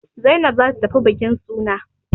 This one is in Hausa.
Zainab za ta tafi bukin suna.